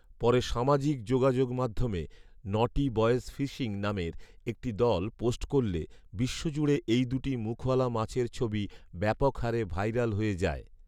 পরে সামাজিক যোগাযোগ মাধ্যমে ‘নটি বয়েজ ফিশিং’ নামের একটি দল পোস্ট করলে বিশ্বজুড়ে এই দু’টি মুখওয়ালা মাছের ছবি ব্যাপকহারে ভাইরাল হয়ে যায়